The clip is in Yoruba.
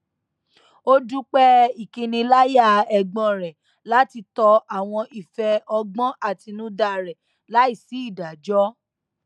ó dúpẹ ìkiniláyà ẹgbọn rẹ láti tọ àwọn ìfẹ ọgbọn àtinúdá rẹ láì sí ìdájọ